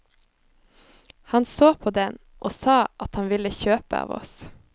Han så på den og sa at han ville kjøpe av oss.